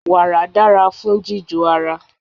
Wàrà dára fún jíjò ara.